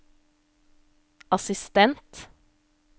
assistent